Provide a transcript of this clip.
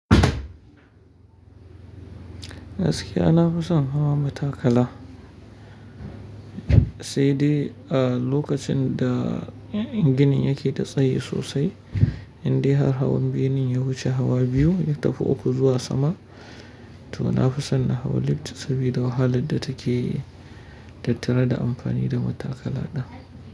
Gaskiya na fi son hawan matakala, sai dai a lokacin da gini yake ta tsayi sosai, indai har hawan biyunin ya wuce hawa biyu ya tafi uku zuwa sama. To na fi son na hawa lift sabida wahalar da take tattare da amfani da matakala ɗin.